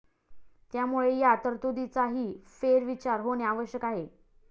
त्यामुळे या तरतुदीचाही फेरविचार होणे आवश्यक आहे.